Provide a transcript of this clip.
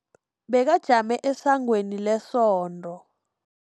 Bekajame esangweni lesonto.